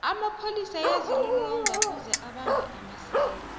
amapholis ayazilolonga kuze abambhe amasela